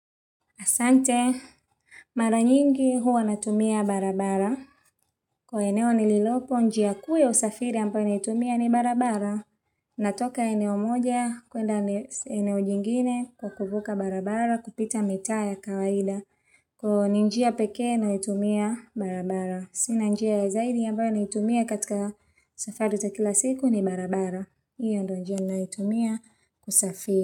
Asante, mara nyingi huwa natumia barabara. Kwa eneo nililopo, njia kuu ya usafiri ambyo naitumia ni barabara. Natoka eneo moja, kwenda eneo jingine kwa kuvuka barabara, kupita mita ya kawaida. Kwa ni njia peke nainitumia barabara. Sina njia zaidi ambayo naitumia katika safari za kila siku ni barabara. Iyo ndio njia naniyotumia kusafiri.